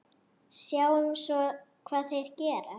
Sjáum svo hvað þeir gera.